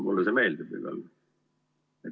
Mulle see meeldib igal juhul.